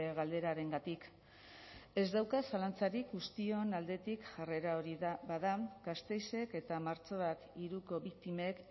galderarengatik ez dauka zalantzarik guztion aldetik jarrera hori bada gasteizek eta martxoak hiruko biktimek